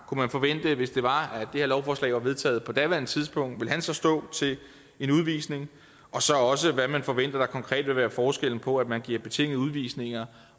kunne man forvente hvis det var at det her lovforslag var vedtaget på daværende tidspunkt at han så ville stå til en udvisning og så også hvad man forventer at der konkret vil være forskellen på at man giver betingede udvisninger